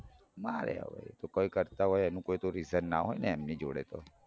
માર્યા હવે એતો કાંઈ કરતા હોય એનું તો કાંઈ reason ના હોય જોડે